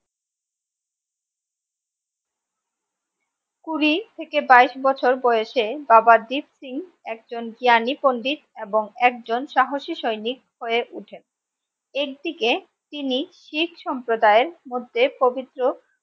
কুড়ি থেকে বাইশ বছর বয়সে বাবা দ্বীপ সিং একজন জ্ঞানী পান্ডিত এবং একজন সাহসী সৈনিক হয়ে উঠেন এক দিকে তিনি শিখ সম্প্রদায়ের মধ্যে পবিত্র